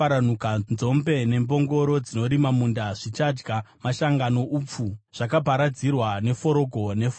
Nzombe nembongoro dzinorima munda zvichadya mashanga noupfu, zvakaparadzirwa neforogo nefoshoro.